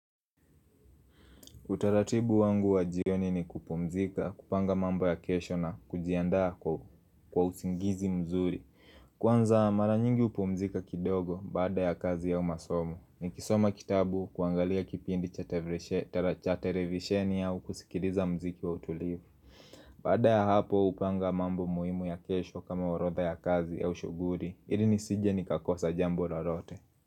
Utaratibu wangu wa jioni ni kupumzika, kupanga mambo ya kesho na kujiandaa kwa usingizi mzuri Kwanza maranyingi upumzika kidogo baada ya kazi au masomo ni kisoma kitabu kuangalia kipindi cha tevreshe, telachatele visheni au kusikiriza mziki wa utulivu Baada ya hapo hupanga mambo muhimu ya kesho kama orotha ya kazi au shughuli ilii nisije ni kakosa jambo la lote.